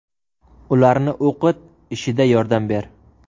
Ularni o‘qit, ishida yordam ber.